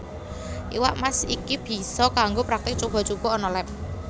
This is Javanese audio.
Iwak Mas iki bisa kanggo praktik cuba cuba ana leb